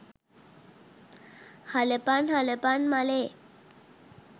හලපං හලපං මලේ